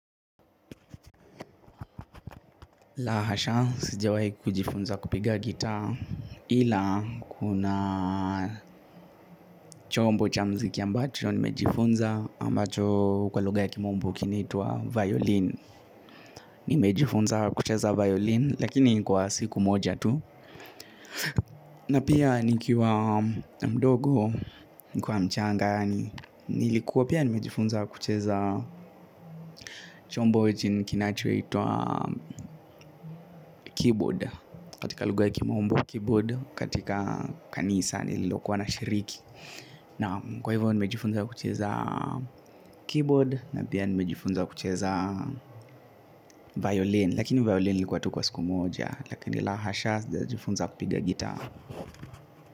La hasha, sijawai kujifunza kupiga gitaa ila, kuna chombo cha muziki ambacho nimejifunza ambacho kwa lugha ya kimombo kinaitwa violin nimejifunza kucheza violin, lakini ni kwa siku moja tu na pia nikiwa mdogo, nikiwa mchanga nilikuwa pia nimejifunza kucheza chombo chenye kinachoitwa keyboard katika lugha ya kimombo keyboard katika kanisa nililokuwa nashiriki. Naam kwa hivyo nimejifunza kucheza keyboard na pia nimejifunza kucheza violin lakini violin ilikuwa tu kwa siku moja lakini la hasha sijajiifunza kupiga gitaa.